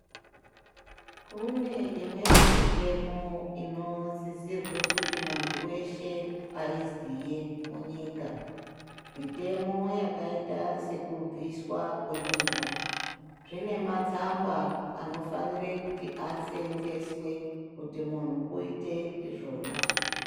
Kune imweni mitemo inosisirwe kuti muntu weshe aiziye munyika. Mitemo yakaita sekubviswa kwemimba. Zvine matsamba anofanire kuti asenzeswe kuti munhu uite izvona.